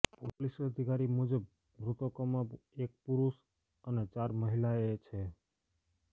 police અધિકારી મુજબ મૃતકોમાં એક પુરુષ અને ચાર મહિલાએ છે